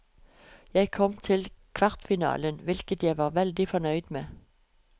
Jeg kom til kvartfinalen, hvilket jeg var veldig fornøyd med.